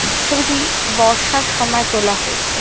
ছবিটি বর্ষার সময় তোলা হয়েছে।